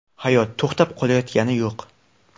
Hayot to‘xtab qolayotgani yo‘q.